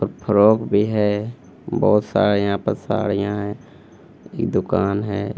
Frock भी है बहुत सारे यहां पे साड़िया हैं एक दुकान है।